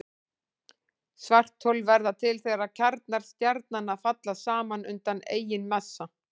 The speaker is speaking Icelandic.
Svarthol verða til þegar kjarnar stjarnanna falla saman undan eigin massa.